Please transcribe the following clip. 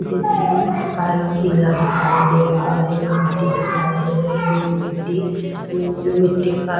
JCB का रंग पीला दिखाई दे रहा है मिट्टी दिखाई दे रही है मिट्टी मिट्टी का --